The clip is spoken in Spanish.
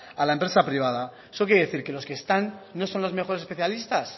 a la empresa privada eso qué quiere decir que los que están no son los mejores especialistas